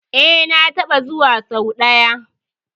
E, na taɓa zuwa sau ɗaya.